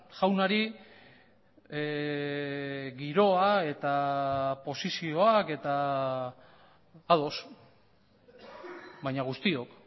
jaunari giroa eta posizioak eta ados baina guztiok